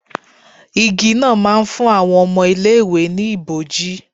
Igi náà ma ń fún àwọn ọmọ ilé ìwé ni ibòji.